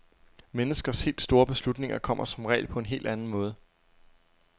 Menneskers helt store beslutninger kommer som regel på en helt anden måde.